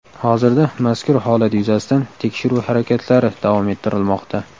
Hozirda mazkur holat yuzasidan tekshiruv harakatlari davom ettirilmoqda.